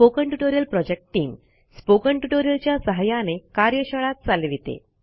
spoken tutorial project team spoken tutorial च्या सहाय्याने कार्यशाळा चालविते